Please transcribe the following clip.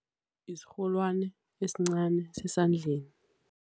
Isirholwani esincani sesandleni.